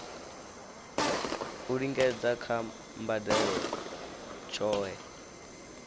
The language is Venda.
u lingedza kha mbadelo tshohe